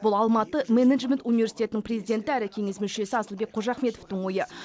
бұл алматы менеджмент университетінің президенті әрі кеңес мүшесі асылбек қожахметовтің ойы